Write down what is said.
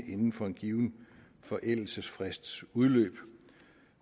inden for en given forældelsesfrists udløb